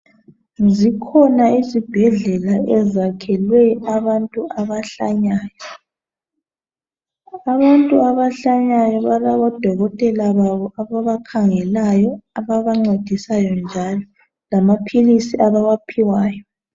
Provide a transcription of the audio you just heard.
Zikhona izibhedlela ezakelwe abantu abahlanyayo. Abantu abahlanyayo balabodokotela babo ababakhangelayo ababancedisayo njalo lamapilisi abawaphiwayo.